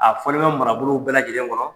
A fɔlen bɛ marabolow bɛɛ lajɛlen kɔnɔ.